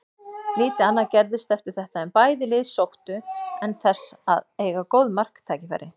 Lítið annað gerðist eftir þetta en bæði lið sóttu en þess að eiga góð marktækifæri.